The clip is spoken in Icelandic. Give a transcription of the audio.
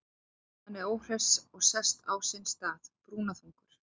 Hann er óhress og sest á sinn stað, brúnaþungur.